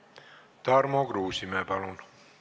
Tarmo Kruusimäe, palun!